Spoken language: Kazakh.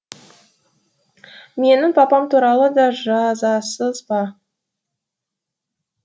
менің папам туралы да жазасыз ба